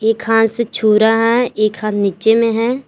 एक हाथ से छू रहा है एक हाथ नीचे में है।